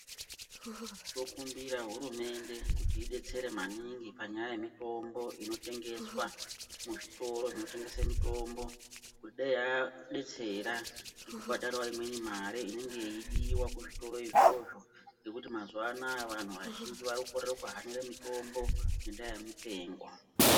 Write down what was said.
Tikumbire hurumemde idetsere maningi panyaya yemitombo inotengeswa mizvitoro zvinotengesa mitombo kuti dai yadetsera nekubhadharawo imweni mari inenge yeidiwa kuzvitoro izvozvo nekuti mazuva anaya vanhu vazhinji warikukorera kuhanira mitombo ngenyaya yemitengo.